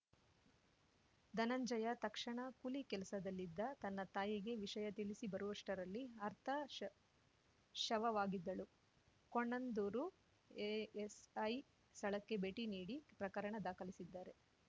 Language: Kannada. ಧನಂಜಯ ತಕ್ಷಣ ಕೂಲಿ ಕೆಲಸದಲ್ಲಿದ್ದ ತನ್ನ ತಾಯಿಗೆ ವಿಷಯ ತಿಳಿಸಿಬರುವಷ್ಟರಲ್ಲಿ ಅರ್ಥ ಶ ಶವವಾಗಿದ್ದಳು ಕೋಣಂದೂರು ಎಎಸ್‌ಐ ಸ್ಥಳಕ್ಕೆ ಭೇಟಿ ನೀಡಿ ಪ್ರಕರಣ ದಾಖಲಿಸಿದ್ದಾರೆ